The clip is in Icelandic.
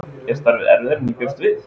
Er starfið erfiðara en ég bjóst við?